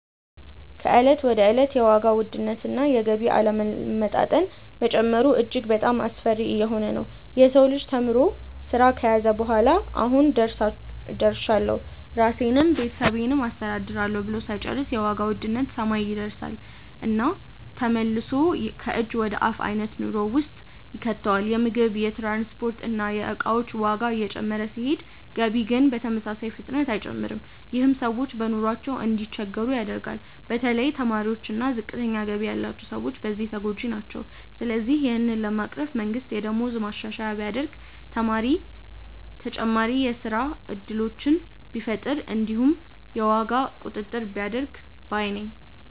ከእለት ወደ እለት የዋጋ ውድነት እና የገቢ አለመመጣጠን መጨመሩ እጅግ በጣሞ አስፈሪ እየሆነ ነዉ። የሰው ልጅ ተምሮ ስራ ከያዘ በኋላ "አሁን ደርሻለሁ ራሴንም ቤተሰቤንም አስተዳድራለሁ" ብሎ ሳይጨርስ የዋጋ ውድነት ሰማይ ይደርስና ተመልሶ ከእጅ ወደ አፍ አይነት ኑሮ ውስጥ ይከተዋል። የምግብ፣ የትራንስፖርት እና የእቃዎች ዋጋ እየጨመረ ሲሄድ ገቢ ግን በተመሳሳይ ፍጥነት አይጨምርም። ይህም ሰዎች በኑሯቸው እንዲቸገሩ ያደርገዋል። በተለይ ተማሪዎች እና ዝቅተኛ ገቢ ያላቸው ሰዎች በዚህ ተጎጂ ናቸው። ስለዚህ ይህንን ለመቅረፍ መንግስት የደሞዝ ማሻሻያ ቢያደርግ፣ ተጨማሪ የስራ እድሎችን ቢፈጥር እንዲሁም የዋጋ ቁጥጥር ቢያደርግ ባይ ነኝ።